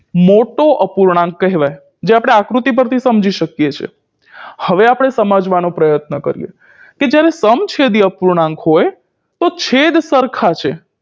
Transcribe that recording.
મોટો અપૂર્ણાંક કહેવાય જે આપણે આકૃતિ પરથી સમજી શકીએ છીએ હવે આપણે સમજવાનો પ્રયત્ન કરીએ કે જ્યારે સમછેદી અપૂર્ણાંક હોય તો છેદ સરખા છે